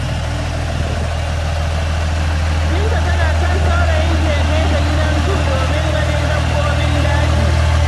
Binta tana son saurayinta ya kai ta gidan zu domin ganin dabbobin daji.